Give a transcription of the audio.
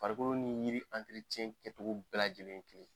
Farikolo ni yiri kɛcogo bɛɛ lajɛlen ye kelen yen.